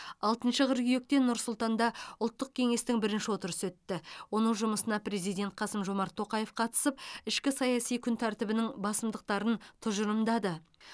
алтыншы қыркүйекте нұр сұлтанда ұлттық кеңестің бірінші отырысы өтті оның жұмысына президент қасым жомарт тоқаев қатысып ішкі саяси күн тәртібінің басымдықтарын тұжырымдады